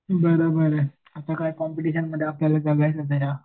बरोबर आहे आता काय कॉम्पिटिशनमध्ये